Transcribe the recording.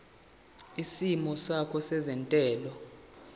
isimo sakho sezentela